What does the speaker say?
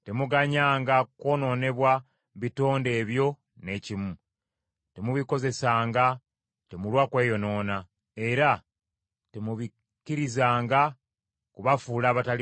Temuganyanga kwonoonebwa bitonde ebyo n’ekimu. Temubikozesanga temulwa kweyonoona, era temubikkirizanga kubafuula abatali balongoofu.